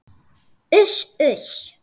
Uss, uss.